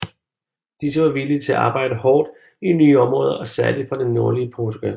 Disse var villige til at arbejde hårdt i nye områder og særligt fra det nordlige Portugal